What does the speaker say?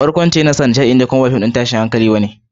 Barkwanci yawanci don nishaɗi ne kuma ba fim ɗin tashin hankali ba ne.